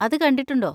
അത് കണ്ടിട്ടുണ്ടോ?